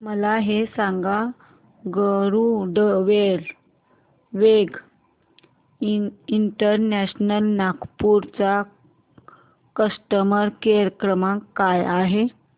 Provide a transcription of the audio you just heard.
मला हे सांग गरुडवेग इंटरनॅशनल नागपूर चा कस्टमर केअर क्रमांक काय आहे